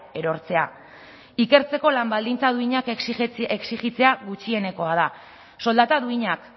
erortzea ikertzeko lan baldintza duinak exijitzea gutxienekoa da soldata duinak